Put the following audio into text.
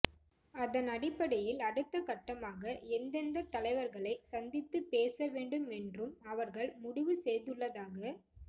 அதன் அடிப்படையில் அடுத்தக் கட்டமாக எந்தெந்த தலைவர்களை சந்தித்து பேச வேண்டும் என்றும் அவர்கள் முடிவு செய்துள்ளதாக